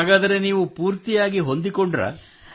ಹಾಗಾದರೆ ನೀವು ಪೂರ್ತಿಯಾಗಿ ಹೊಂದಿಕೊಂಡಿರೇ